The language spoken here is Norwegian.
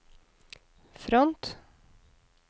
front